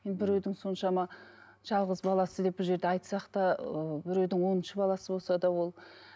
енді біреудің соншама жалғыз баласы деп бұл жерде айтсақ та ыыы біреудің оныншы баласы болса да ол